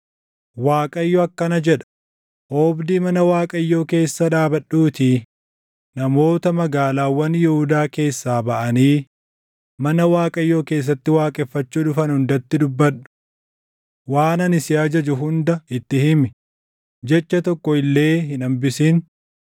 “ Waaqayyo akkana jedha: Oobdii mana Waaqayyoo keessa dhaabadhuutii namoota magaalaawwan Yihuudaa keessaa baʼanii mana Waaqayyoo keessatti waaqeffachuu dhufan hundatti dubbadhu. Waan ani si ajaju hunda itti himi; jecha tokko illee hin hambisin.